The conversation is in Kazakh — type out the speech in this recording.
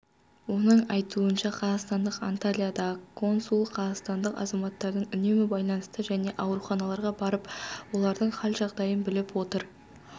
оның айтуынша қазақстанның антальядағы консулы қазақстандық азаматтармен үнемі байланыста және ауруханаларға барып олардың қал-жағдайын біліп отыр